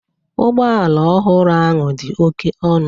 Ụgbọ ala ọhụrụ ahụ dị oke ọnụ